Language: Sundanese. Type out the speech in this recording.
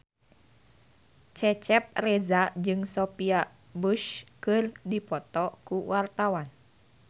Cecep Reza jeung Sophia Bush keur dipoto ku wartawan